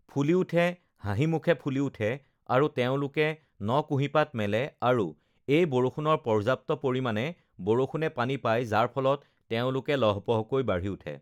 ফুলি উঠে, হাঁহি মুখে ফুলি উঠে আৰু তেওঁলোকে ন-কুঁহিপাত মেলে আৰু এই বৰষুণৰ পৰ্যাপ্ত পৰিমাণে বৰষুণে পানী পায় যাৰ ফলত তেওঁলোকে লহ্-পহ্কৈ বাঢ়ি উঠে